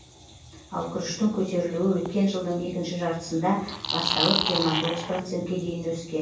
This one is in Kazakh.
ал күріштің көтерілуі өткен жылдың екінші жартысында басталып жиырма тоғыз процентке дейін өскен